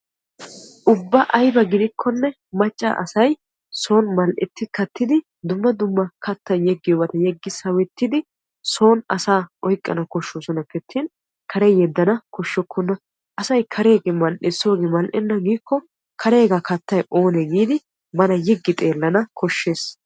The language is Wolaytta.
ubba ayiba gidikkonne macca asay son mal"etti kattidi dumma dumma kattan yeggiyoobata yeggi sawettidi son asaa oyiqqana koshshoosonappe attin kare yeddana koshshokkona. asay kareegee mal"es soogee mal"enna giikko kareegaa kattay oonee giidi bana yiggi xeellana koshshes.